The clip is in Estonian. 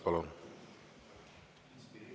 Palun!